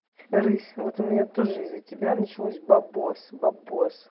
рысь вот у меня тоже из-за тебя началось деньги деньги